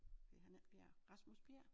Hed han ikke Bjerg Rasmus Bjerg?